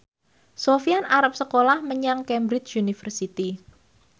Sofyan arep sekolah menyang Cambridge University